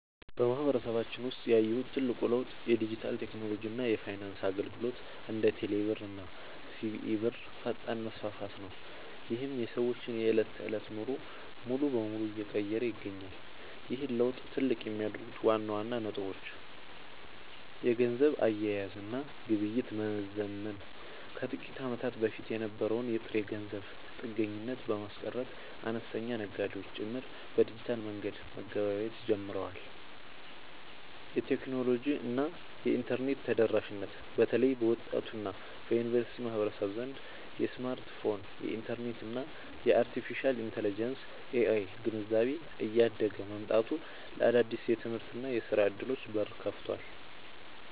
በማህበረሰባችን ውስጥ ያየሁት ትልቁ ለውጥ የዲጂታል ቴክኖሎጂ እና የፋይናንስ አገልግሎቶች (እንደ ቴሌብር እና ሲቢኢ ብር) ፈጣን መስፋፋት ነው፤ ይህም የሰዎችን የዕለት ተዕለት ኑሮ ሙሉ በሙሉ እየቀየረ ይገኛል። ይህን ለውጥ ትልቅ የሚያደርጉት ዋና ዋና ነጥቦች - የገንዘብ አያያዝ እና ግብይት መዘመን፦ ከጥቂት ዓመታት በፊት የነበረውን የጥሬ ገንዘብ ጥገኝነት በማስቀረት፣ አነስተኛ ነጋዴዎች ጭምር በዲጂታል መንገድ መገበያየት ጀምረዋል። የቴክኖሎጂ እና የኢንተርኔት ተደራሽነት፦ በተለይ በወጣቱ እና በዩኒቨርሲቲ ማህበረሰብ ዘንድ የስማርትፎን፣ የኢንተርኔት እና የአርቴፊሻል ኢንተለጀንስ (AI) ግንዛቤ እያደገ መምጣቱ ለአዳዲስ የትምህርትና የሥራ ዕድሎች በር ከፍቷል።